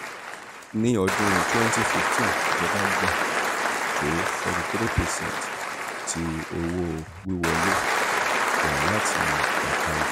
ni ọdun cs] twwnty fifteen ijọba gba to forty three percent ti owo-wiwọle owo-wiwọle rẹ lati eka epo.